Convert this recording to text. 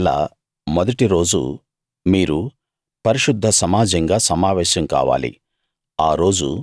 ఏడో నెల మొదటి రోజు మీరు పరిశుద్ధ సమాజంగా సమావేశం కావాలి